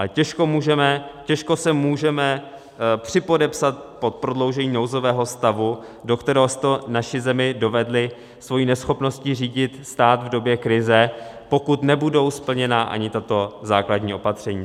Ale těžko se můžeme připodepsat pod prodloužení nouzového stavu, do kterého jste naši zemi dovedli svou neschopností řídit stát v době krize, pokud nebudou splněna ani tato základní opatření.